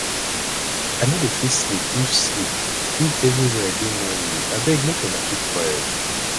i no dey fit sleep if sleep if everywhere dey noisy abeg make una keep quiet